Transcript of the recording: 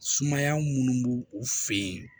Sumaya minnu b'u u fɛ yen